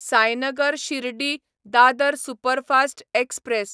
Sainagar Shirdi Dadar superfast express